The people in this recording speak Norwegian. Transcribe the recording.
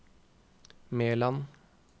Meland